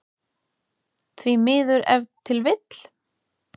Því miður ef til vill?